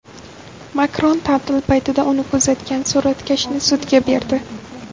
Makron ta’til paytida uni kuzatgan suratkashni sudga berdi.